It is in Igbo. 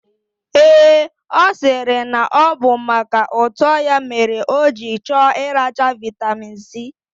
Ee, osiri na obu maka uto ya ka oji choo iracha vitamin C.